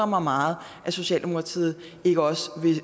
mig meget at socialdemokratiet ikke også